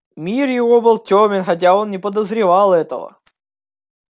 мир его был тёмен хотя он не подозревал этого